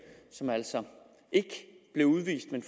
som altså ikke blev udvist men